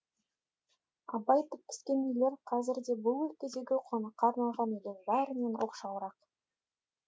абай тіккізген үйлер қазірде бұл өлкедегі қонаққа арналған үйдің бәрінен оқшауырақ